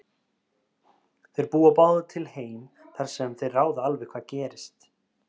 Þeir búa báðir til heim þar sem þeir ráða alveg hvað gerist.